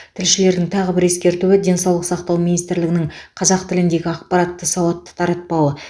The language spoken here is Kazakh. тілшілердің тағы бір ескертуі денсаулық сақтау министрлігінің қазақ тіліндегі ақпаратты сауатты таратпауы